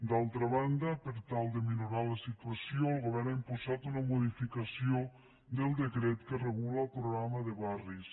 d’altra banda per tal de minorar la situació el govern ha impulsat una modificació del decret que regula el programa de barris